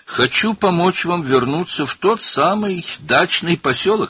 Həmin bağ evləri olan qəsəbəyə qayıtmağınıza kömək etmək istəyirəm.